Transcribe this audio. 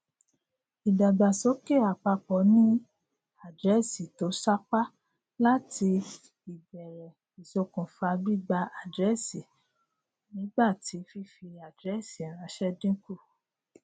ìdàgbàsókè àpapọ ni àdírẹẹsì to sápá láti ìbèrè isokufa gbígba àdírẹẹsìnígbà tí fífi àdírẹẹsì ranṣẹ dínkù